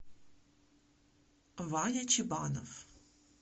ваня чебанов